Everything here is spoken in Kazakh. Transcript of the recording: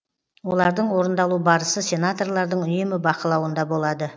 олардың орындалу барысы сенаторлардың үнемі бақылауында болады